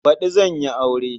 Baɗi zan yi aure.